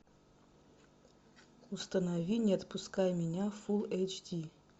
установи не отпускай меня фулл эйч ди